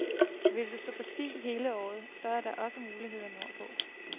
Vil du stå på ski hele året, så er der også muligheder nordpå.